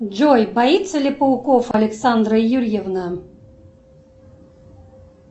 джой боится ли пауков александра юрьевна